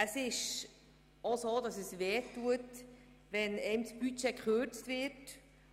Es tut auch weh, wenn einem das Budget gekürzt wird